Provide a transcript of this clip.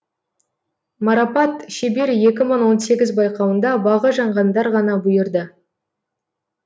марапат шебер екі мың он сегіз байқауында бағы жанғандар ғана бұйырды